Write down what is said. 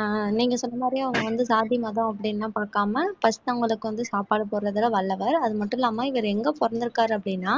ஆஹ் நீங்க சொன்ன மாதிரி அவங்க வந்து சாதி மதம் அப்படின்னு எல்லாம் பார்க்காம first அவங்களுக்கு வந்து சாப்பாடு போடுறதுல வல்லவர் அது மட்டும் இல்லாம இவர் எங்க பிறந்திருக்காரு அப்படின்னா